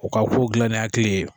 U ka kow gilan ni hakili ye